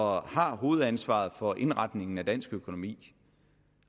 og har hovedansvaret for indretningen af dansk økonomi